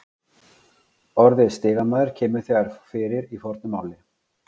Orðið stigamaður kemur þegar fyrir í fornu máli.